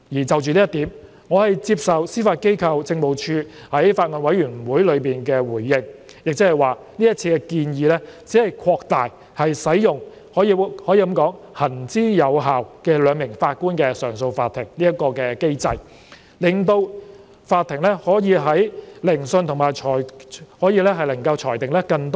就着這一點，我接受司法機構政務處在法案委員會中的回應，即這次建議只是擴大使用行之有效、由兩名法官組成的上訴法庭的機制，令法庭可以聆訊和裁定更多案件。